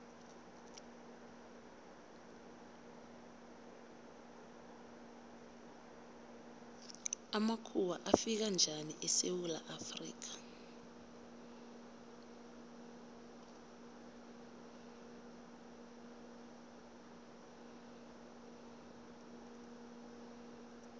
amakhuwa afika njani esewula afrika